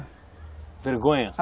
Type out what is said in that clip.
vergonha?